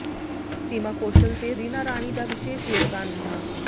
ਸੀਮਾ ਕੌਸ਼ਲ ਤੇ ਰੀਨਾ ਰਾਣੀ ਦਾ ਵਿਸ਼ੇਸ਼ ਯੋਗਦਾਨ ਰਿਹਾ